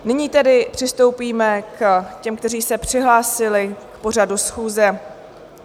Nyní tedy přistoupíme k těm, kteří se přihlásili k pořadu schůze.